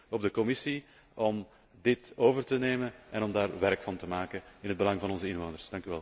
Ik reken dus op de Commissie om dit over te nemen en om daar werk van te maken in het belang van onze inwoners.